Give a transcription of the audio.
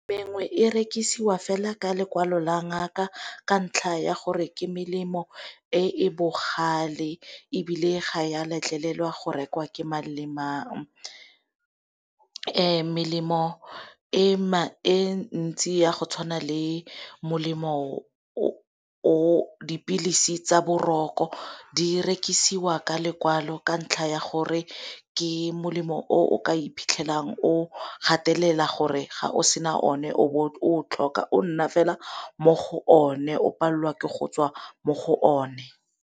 Mengwe e rekisiwa fela ka lekwalo la ngaka ka ntlha ya gore ke melemo e e bogale, ebile ga ya letlelelwa go rekwa ke mang lemang. Melemo e ntsi ya go tshwana le molemo dipilisi tsa boroko di rekisiwa ka lekwalo ka ntlha ya gore ke molemo o ka iphitlhelang o gatelela gore ga o sena o ne o tlhoka o nna fela mo go o ne o palelwa ke go tswa mo go o ne.